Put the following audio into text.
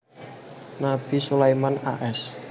Nabi Sulaiman a s